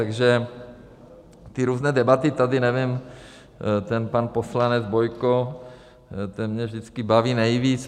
Takže ty různé debaty tady, nevím, ten pan poslanec Bojko, ten mě vždycky baví nejvíc.